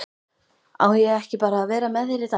Á ég ekki bara að vera með þér í dag?